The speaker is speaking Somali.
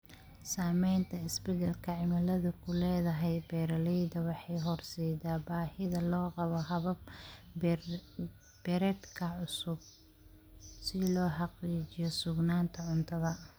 Saamaynta isbeddelka cimiladu ku leedahay beeralayda waxay horseedaa baahida loo qabo habab beereedka cusub si loo xaqiijiyo sugnaanta cuntada.